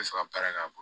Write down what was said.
bɛ fɛ ka baara k'a bolo